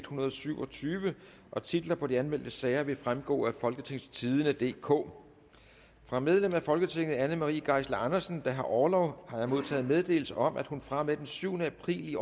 hundrede og syv og tyve titler på de anmeldte sager vil fremgå af folketingstidende DK fra medlem af folketinget anne marie geisler andersen der har orlov har jeg modtaget meddelelse om at hun fra og med den syvende april